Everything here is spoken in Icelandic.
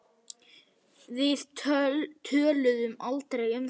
Við töluðum aldrei um þetta.